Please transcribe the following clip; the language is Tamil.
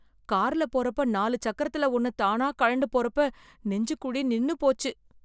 கார்ல போறப்ப நாலு சக்கரத்துல ஒன்னு தானா கழண்டு போறப்ப, நெஞ்சுக்குழி நின்னு போச்சு.